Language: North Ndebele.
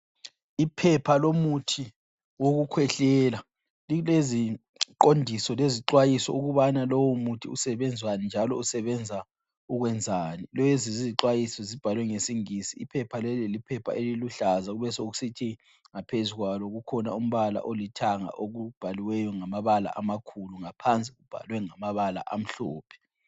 Iphepha lomuthi wokukhwehlela. Lileziqondiso lezixwayiso ukubana lowomuthi usebenzani njalo usebenza ukwenzani. Lezi zixwayiso zibhalwe ngesingisi. Iphepha leli liphepha eliluhlaza sokusithi ngaphezukwalo kukhona umbala olithanga okubhaliweyo amakhulu ngaphansi kubhalwe ngamabala amhlophe.